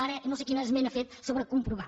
ara no sé quina esmena ha fet sobre comprovar